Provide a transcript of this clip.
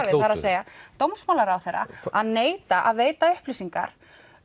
að segja dómsmálaráðherra að neita að veita upplýsingar